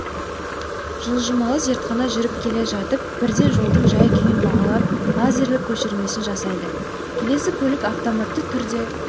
жылжымалы зертхана жүріп келе жатып бірден жолдың жай-күйін бағалап лазерлік көшірмесін жасайды келесі көлік автоматты түрде